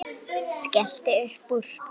Skellti upp úr.